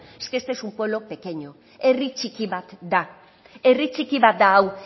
es que este es un pueblo pequeño herri txiki bat da herri txiki bat da hau